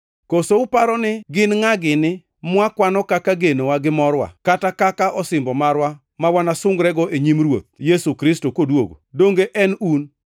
Koso uparo ni gin ngʼa gini mwakwano kaka genowa gi morwa, kata kaka osimbo marwa ma wanasungrego e nyim Ruoth Yesu Kristo koduogo? Donge en un?